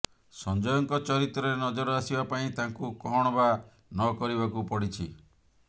ସଂଜୟଙ୍କ ଚରିତ୍ରରେ ନଜର ଆସିବା ପାଇଁ ତାଙ୍କୁ କଣ ବା ନକରିବାକୁ ପଡିଛି